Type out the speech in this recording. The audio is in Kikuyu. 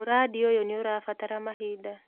Mũrandi ũyũ nĩũrabatara mahinda